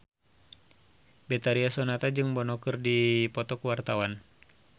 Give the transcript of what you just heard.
Betharia Sonata jeung Bono keur dipoto ku wartawan